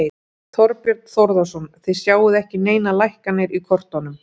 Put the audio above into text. Þorbjörn Þórðarson: Þið sjáið ekki neinar lækkanir í kortunum?